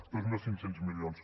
dos mil cinc cents milions